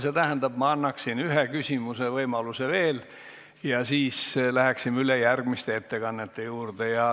See tähendab, et ma annaksin ühe küsimuse võimaluse veel ja siis läheksime üle järgmiste ettekannete juurde.